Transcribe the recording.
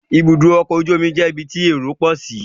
Ibùdó ọkọ̀ ojú omi jẹ́ ibi tí èrò pọ̀ sí